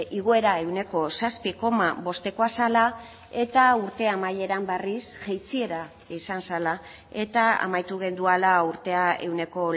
igoera ehuneko zazpi koma bostekoa zela eta urte amaieran berriz jaitsiera izan zela eta amaitu genuela urtea ehuneko